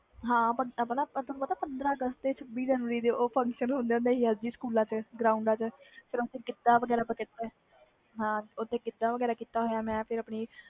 ਹਾਂ ਤੈਨੂੰ ਪਤਾ ਪੰਦ੍ਹਰਾ ਅਗਸਤ ਛਬੀ ਜਨਵਰੀ ਦੇ ਉਹ function ਹੁੰਦੇ ਸੀ ਸਕੂਲਾਂ ਵਿਚ ਫਿਰ ਅਸੀਂ ਗਿੱਧਾ ਵਗੈਰਾ ਕੀਤਾ ਸੀ ਮੈਂ